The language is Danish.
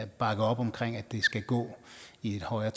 bakker op om at det skal gå i et højere